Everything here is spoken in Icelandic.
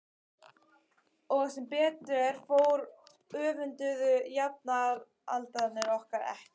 Og sem betur fór öfunduðu jafnaldrarnir okkur ekki.